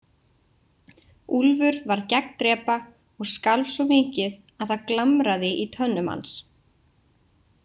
Úlfur varð gegndrepa og skalf svo mikið að það glamraði í tönnum hans.